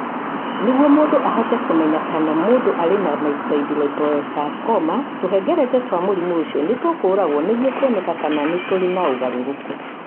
Nĩguo mũndũ ahote kũmenya kana mũndũ arĩ na myxoid liposarcoma, tũhengereta twa mũrimũ ũcio nĩ tũkoragũo nĩguo kũoneke kana nĩ tũrĩ na ũgarũrũku.